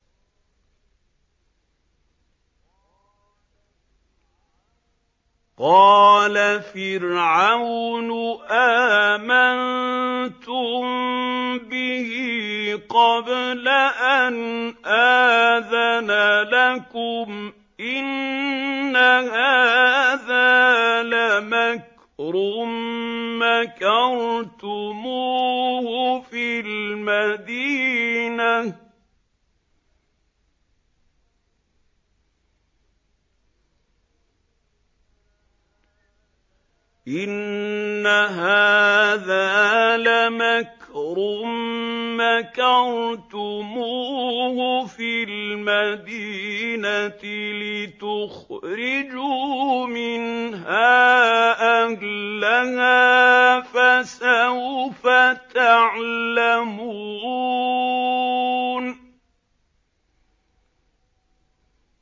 قَالَ فِرْعَوْنُ آمَنتُم بِهِ قَبْلَ أَنْ آذَنَ لَكُمْ ۖ إِنَّ هَٰذَا لَمَكْرٌ مَّكَرْتُمُوهُ فِي الْمَدِينَةِ لِتُخْرِجُوا مِنْهَا أَهْلَهَا ۖ فَسَوْفَ تَعْلَمُونَ